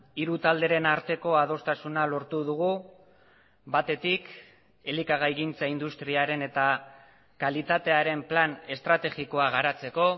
hiru talderen arteko adostasuna lortu dugu batetik elikagaigintza industriaren eta kalitatearen plan estrategikoa garatzeko